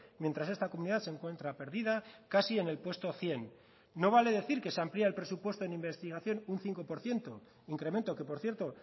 mientras esta comunidad se encuentra perdida casi en el puesto cien no vale decir que se amplía el presupuesto en investigación un cinco por ciento incremento que por cierto